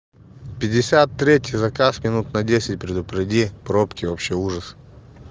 пятьдесят третий заказ минут на десять предупреди пробки вообще ужас